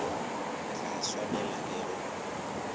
re tla swanelwa ke go